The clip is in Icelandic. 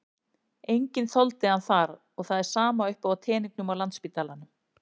Enginn þoldi hann þar og það er sama uppi á teningnum á Landspítalanum.